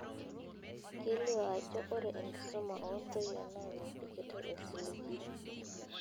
Kelio ajo ore enkisuma oo ntoyie naa mepikitai osiligi.